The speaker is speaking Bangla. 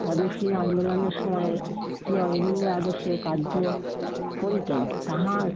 স্বদেশী আন্দোলনের সময় শ্রী অরবিন্দের আদর্শ কার্য করিতেন, তাহার